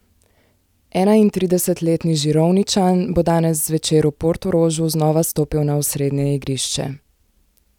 Enaintridesetletni Žirovničan bo danes zvečer v Portorožu znova stopil na osrednje igrišče.